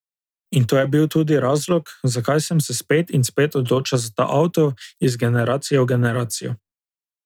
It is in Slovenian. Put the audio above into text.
In to je bil tudi razlog, zakaj sem se spet in spet odločal za ta avto, iz generacije v generacijo.